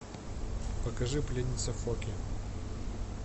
покажи пленница фо кей